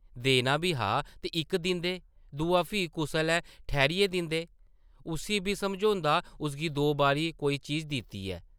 देना बी हा ते इक दिंदे, दूआ फ्ही कुसै’लै ठैह्रियै दिंदे, उस्सी बी समझोंदा उसगी दो बारी कोई चीज दित्ती ऐ ।